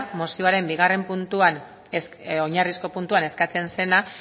mozioaren oinarrizko bigarren puntuan eskatzen zena